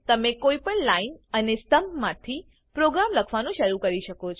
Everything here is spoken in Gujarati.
તમે કોઇપણ લાઇન અને સ્તંભ માંથી પ્રોગ્રામ લખવાનું શરૂ કરી શકો છો